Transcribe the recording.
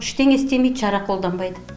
ештеңе істемейді шара қолданбайды